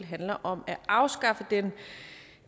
handler om at afskaffe den